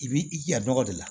I b'i jando la